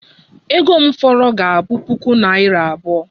Ego m fọrọ ga-abụ puku naira abụọ